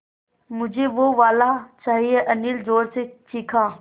मझे वो वाला चाहिए अनिल ज़ोर से चीख़ा